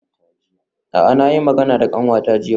A'a na yi magana da kanwata jiya.